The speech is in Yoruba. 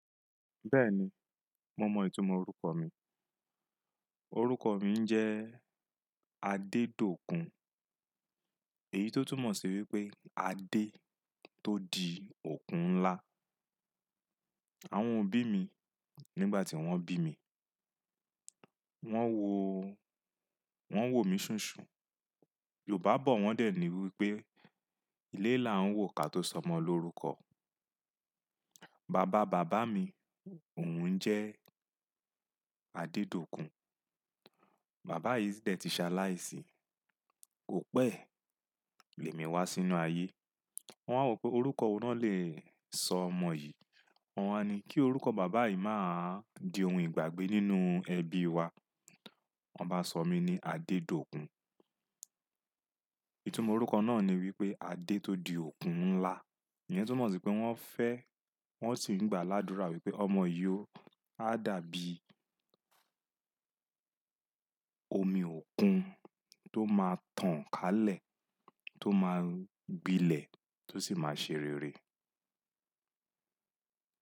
Bẹ́ẹ̀ni, mo mọ ìtumọ̀ orúkọ mi. Orúkọ mi jẹ́ Adedokun. Èyí tó túmọ̀ sí wípé adé tó di òkun ńlá. Àwọn òbí mi nígbà tí wón bí mi, wón wo, wón wò mí ṣúnsùn. Yorùbá bọ̀ wón dẹ̀ ní wípé ilé là ń wò ká tó sọ ọmọ lorúkọ. Bàbá bàbá mi òun jẹ́ Adedokun. Bàbá yìí dẹ̀ ti ṣaláì sí, kò pẹ́ lèmi wá sínú ayé. Wón wá wípé orúkọ òun náà lè sọ ọmọ yìí. Wọ́n wá ní kí orúkọ bàbá yìí má di ohun ìgbàgbé nínú ẹbí wa. Wọ́n bá sọ mí ní Adedokun. Ìtumọ̀ orúkọ náà ni wípé adé tó di òkun ńlá. Èyí tó túmọ̀ sí pé wón fẹ́, wón sì ń gbà ládùrá wípé ọmọ yìí ó há dàbí omi òkun tó máa tàn kálẹ̀, tó máa gbilẹ̀, tó sì máa ṣe rere.